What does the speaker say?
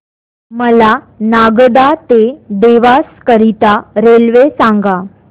मला नागदा ते देवास करीता रेल्वे सांगा